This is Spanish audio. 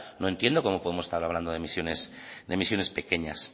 no entiendo cómo podemos estar hablando de emisiones pequeñas